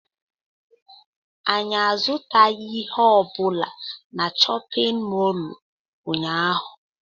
Anyị azụtaghị ihe ọ bụla na chọpịn mọọlụ ụnyaahụ.